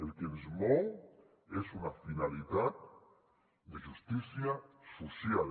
el que ens mou és una finalitat de justícia social